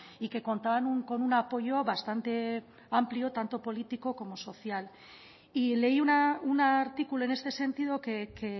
y que contaban con un apoyo bastante amplio tanto político como social y leí un artículo en este sentido que